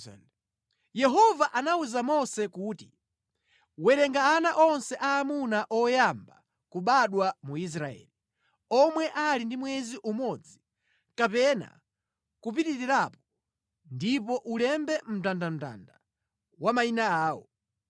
Yehova anawuza Mose kuti, “Werenga ana onse aamuna oyamba kubadwa mu Israeli, omwe ali ndi mwezi umodzi kapena kupitirirapo ndipo ulembe mndandanda wa mayina awo.